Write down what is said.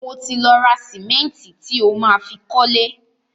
Mo ti lọ ra sìmẹ́ǹtì tí o má fi kọ́lé.